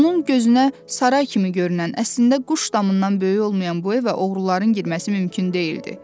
Onun gözünə saray kimi görünən, əslində quş damından böyük olmayan bu evə oğruların girməsi mümkün deyildi.